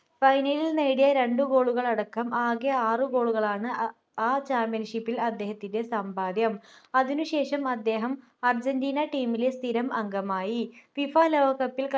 final ൽ നേടിയ രണ്ട്‌ goal കളടക്കം ആകെ ആറ് goal കളാണ് അഹ് ആ championship ൽ അദ്ദേഹത്തിൻ്റെ സമ്പാദ്യം അതിനുശേഷം അദ്ദേഹം അർജന്റീന team ലെ സ്ഥിരം അംഗമായി FIFA ലോകകപ്പിൽ